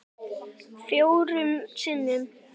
Fjórum sinnum